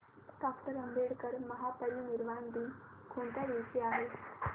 doctor Ambedkar महापरिनिर्वाण दिन कोणत्या दिवशी आहे